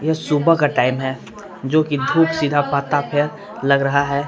ये सुबह का टाइम है जोकि धूप सीधा पात्ता पे लग रहा है।